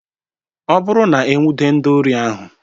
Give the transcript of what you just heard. Ọ bụrụ na-enwude ndị ori ahụ.